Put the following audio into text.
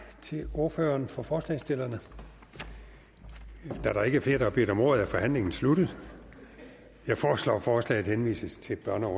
til ordføreren for forslagsstillerne da der ikke er flere der har bedt om ordet er forhandlingen sluttet jeg foreslår at forslaget henvises til børne og